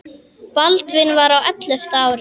Baldvin var á ellefta ári.